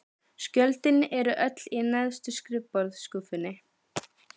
Skjölin eru öll í neðstu skrifborðsskúffunni.